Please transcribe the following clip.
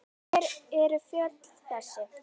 Hver eru fjöll þessi?